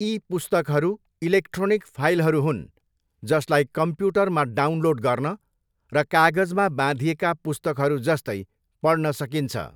ई पुस्तकहरू इलेक्ट्रोनिक फाइलहरू हुन् जसलाई कम्प्युटरमा डाउनलोड गर्न र कागजमा बाँधिएका पुस्तकहरूजस्तै पढ्न सकिन्छ।